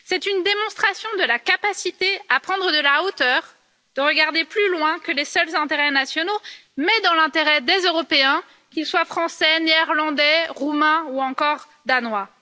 C'est une démonstration de la capacité à prendre de la hauteur, à regarder plus loin que les seuls intérêts nationaux, dans l'intérêt des Européens, qu'ils soient Français, Néerlandais, Roumains ou encore Danois.